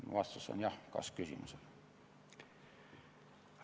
Mu vastus kas-küsimusele on jah.